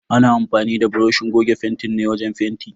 Ana amfanin da buroshin goge fentin ne wajen fenti.